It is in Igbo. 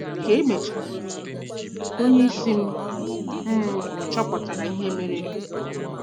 Ka e mechara, onye isi m m chọpụtara ihe merenụ.